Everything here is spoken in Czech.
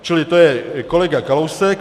Čili to je kolega Kalousek.